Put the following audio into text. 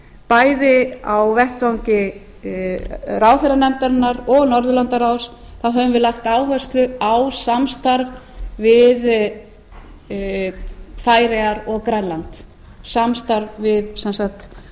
bæði á vettvangi ráðherranefndarinnar og norðurlandaráðs þá höfum við lagt áherslu á samstarf við færeyjar og grænland samstarf við sem sagt